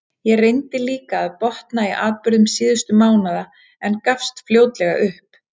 Ég reyndi líka að botna í atburðum síðustu mánaða, en gafst fljótlega upp.